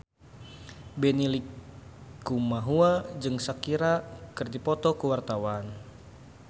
Benny Likumahua jeung Shakira keur dipoto ku wartawan